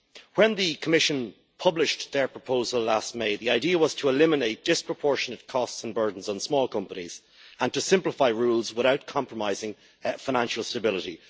When the Commission published their proposal last May, the idea was to eliminate disproportionate costs and burdens on small companies and to simplify rules without compromising financial stability.